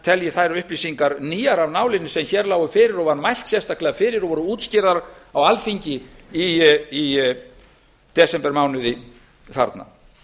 telji þær upplýsingar nýjar af nálinni sem hér lágu fyrir og var mælt sérstaklega fyrir og voru útskýrðar á alþingi í desembermánuði þarna